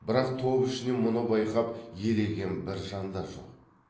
бірақ топ ішінен мұны байқап елеген бір жан да жоқ